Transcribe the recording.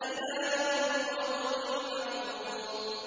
إِلَىٰ يَوْمِ الْوَقْتِ الْمَعْلُومِ